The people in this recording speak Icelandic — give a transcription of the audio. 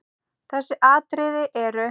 Þessi atriði eru